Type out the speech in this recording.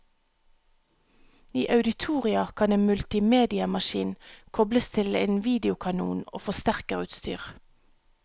I auditorier kan en multimediamaskin kobles til en videokanon og forsterkerutstyr.